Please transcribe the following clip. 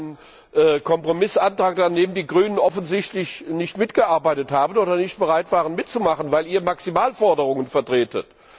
Das ist ein Kompromissantrag, an dem die Grünen offensichtlich nicht mitgearbeitet haben oder nicht bereit waren, mitzumachen, weil Ihr Maximalforderungen vertretet.